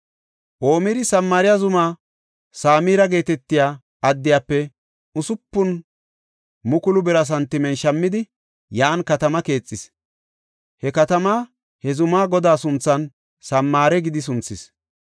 Omiri Samaariya zuma Samira geetetiya addiyafe 6,000 bira santimen shammidi, yan katama keexis. He katamaa he zuma godaa sunthan Samaare gidi sunthis.